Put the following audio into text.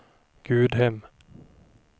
Gudhem